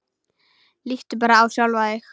Líttu bara á sjálfan þig.